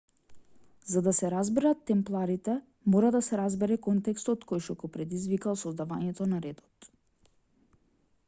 за да се разберет темпларите мора да се разбере контекстот којшто го предизвикал создавањето на редот